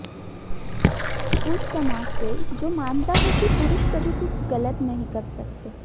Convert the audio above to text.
उस समाज से जो मानता है कि पुरुष कभी कुछ गलत नहीं कर सकते